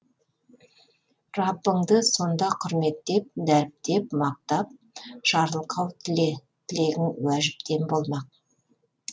раббыңды сонда құрметтеп дәріптеп мақтап жарылқау тіле тілегің уәжіптен болмақ